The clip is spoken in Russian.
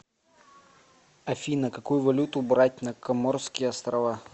афина какую валюту брать на коморские острова